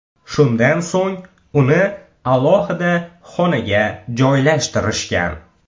Shundan so‘ng uni alohida xonaga joylashtirishgan.